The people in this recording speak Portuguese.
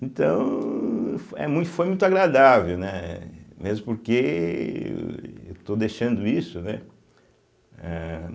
Então, é mui foi muito agradável, né, mesmo porque eu estou deixando isso, né, âh.